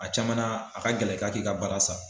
A caman a ka gɛlɛ ka k'i ka baara sa.